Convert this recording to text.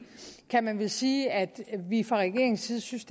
kan man vel sige at vi fra regeringens side synes